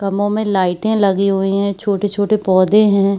कमरों में लाइटे लगी हुईं हैं छोटे-छोटे पौधे है।